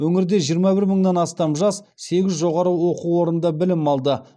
өңірде жиырма бір мыңнан астам жас сегіз жоғары оқу орында білім алады